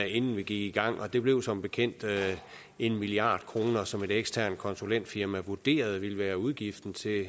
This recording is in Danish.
inden vi gik i gang og det blev som bekendt en milliard kr som et eksternt konsulentfirma vurderede ville være udgiften til at